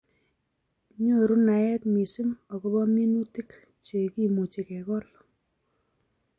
Nyoru naet missing akobo minutik che kemuchi kekol